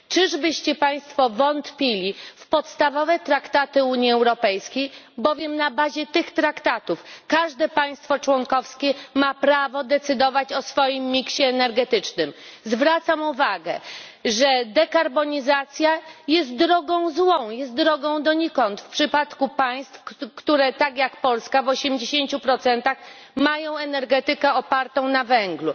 Czyżby Państwo wątpili w podstawowe traktaty Unii Europejskiej, bowiem na bazie tych traktatów każde państwo członkowskie ma prawo decydować o swoim koszyku energetycznym. Zwracam uwagę, że dekarbonizacja jest drogą złą, jest drogą donikąd w przypadku państw, które tak jak Polska w osiemdziesięciu procentach mają energetykę opartą na węglu.